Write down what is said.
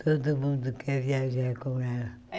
Todo mundo quer viajar com ela.